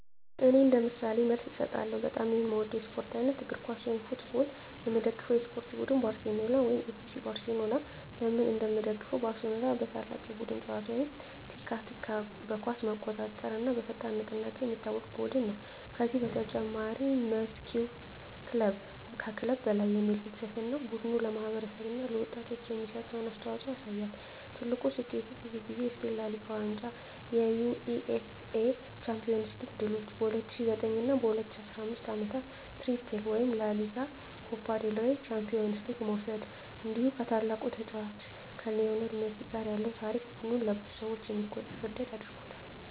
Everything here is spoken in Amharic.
እኔ እንደ ምሳሌ መልስ እሰጣለሁ፦ በጣም የምወደው የስፖርት አይነት: እግር ኳስ (Football) የምደግፈው የስፖርት ቡድን: ባርሴሎና (FC Barcelona) ለምን እንደምደግፈው: ባርሴሎና በታላቅ የቡድን ጨዋታ (tiki-taka)፣ በኳስ መቆጣጠር እና በፈጣን ንቅናቄ የሚታወቅ ቡድን ነው። ከዚህ በተጨማሪ “Mes que un club” (ከክለብ በላይ) የሚል ፍልስፍናው ቡድኑ ለማህበረሰብ እና ለወጣቶች የሚሰጠውን አስተዋፅኦ ያሳያል። ትልቁ ስኬቱ: ብዙ ጊዜ የስፔን ላ ሊጋ ዋንጫ የUEFA ቻምፒዮንስ ሊግ ድሎች በ2009 እና 2015 ዓመታት “ትሪፕል” (ላ ሊጋ፣ ኮፓ ዴል ሬይ፣ ቻምፒዮንስ ሊግ) መውሰድ እንዲሁ ከታላቁ ተጫዋች ሊዮኔል ሜሲ ጋር ያለው ታሪክ ቡድኑን ለብዙ ሰዎች የሚወደድ አድርጎታል።